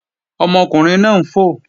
Ọmọkùnrin náà ń fò